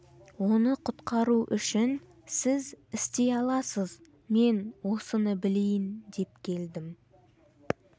оны құтқару үшін сіз істей аласыз мен осыны білейін деп келдім